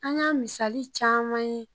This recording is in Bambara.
An y'a misali caman ye